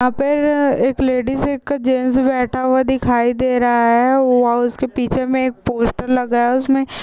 यहाँ पर एक लेडीज एक जेन्ट्स बैठा हुआ दिखाई दे रहा है। ओआ उसके पीछे में एक पोस्टर लगा है उसमे--